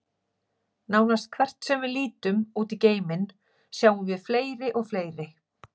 Nánast hvert sem við lítum út í geiminn, sjáum við fleiri og fleiri.